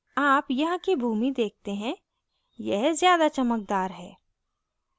आप यहाँ की भूमि देखते हैं यह ज़्यादा चमकदार है